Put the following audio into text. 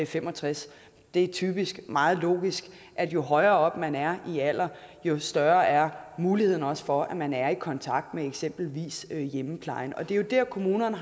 fem og tres år det er typisk meget logisk at jo højere oppe man er i alderen jo større er muligheden også for at man er i kontakt med eksempelvis hjemmeplejen og det er jo der kommunerne